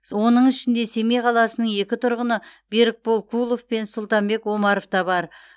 оның ішінде семей қаласының екі тұрғыны берікбол кулов пен сұлтанбек омаров та бар